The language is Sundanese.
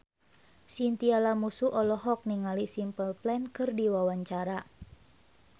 Chintya Lamusu olohok ningali Simple Plan keur diwawancara